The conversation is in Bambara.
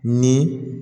Ni